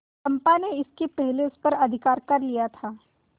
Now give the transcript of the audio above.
चंपा ने इसके पहले उस पर अधिकार कर लिया था